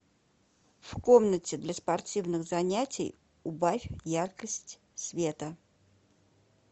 в комнате для спортивных занятий убавь яркость света